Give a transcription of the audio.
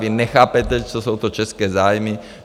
Vy nechápete, co jsou to české zájmy.